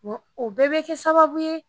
o bɛɛ be kɛ sababu ye.